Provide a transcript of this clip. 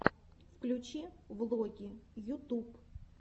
включи влоги ютуб